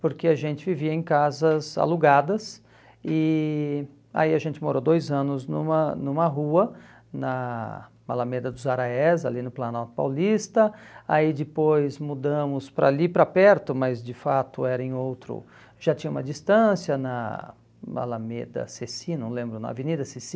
porque a gente vivia em casas alugadas e aí a gente morou dois anos numa numa rua, na Malameda dos Araés, ali no Planalto Paulista, aí depois mudamos para ali, para perto, mas de fato era em outro, já tinha uma distância, na Malameda Sessi, não lembro, na Avenida Sessi,